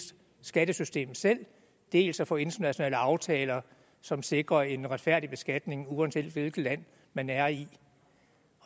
skattesystem selv dels at få internationale aftaler som sikrer en retfærdig beskatning uanset hvilket land man er i